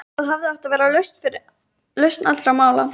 Þar hafði átt að vera lausn allra mála.